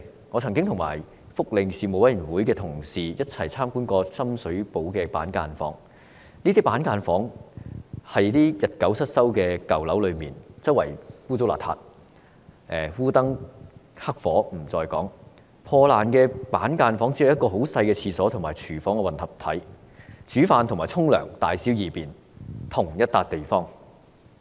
我曾經與福利事務委員會的同事一起參觀深水埗的板間房，那些板間房設於日久失修的舊樓內，四處骯髒不堪，烏燈黑火不在話下，破爛的板間房內只有一個很細小的廁所和廚房混合體，煮飯、沖涼和大小二便也在同一個地方進行。